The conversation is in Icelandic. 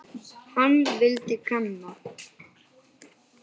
Hann vildi kanna.